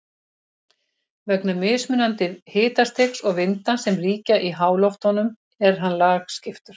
Vegna mismunandi hitastigs og vinda sem ríkja í háloftunum er hann lagskiptur.